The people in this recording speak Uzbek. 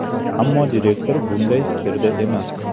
Ammo direktor bunday fikrda emas.